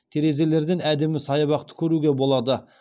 терезелерден әдемі саябақты көруге болады